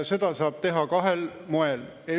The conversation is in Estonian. Seda saab teha kahel moel.